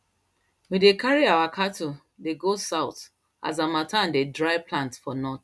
we dey carry our cattle dey go south as harmattan dey dry plants for north